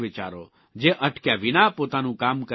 જે અટક્યા વિના પોતાનું કામ કરતા રહે છે